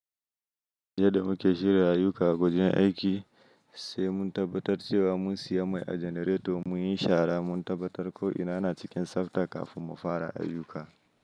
Jiya da muke shirya ayuka a gwajin aiki sai mun tabbatar cewa mun siya mai a janareto muyi shara muna tabbatar ko ina na cikin tsabta kafin mu fara ayuka.